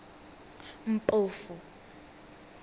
mpofu